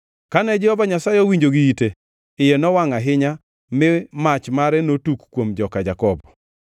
Kane Jehova Nyasaye owinjo gi ite, iye nowangʼ ahinya, mi mach mare notuk kuom joka Jakobo, kendo mirimbe mager nobiro kuom jo-Israel,